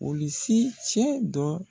Olisi cɛ dɔ